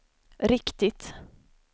riktigt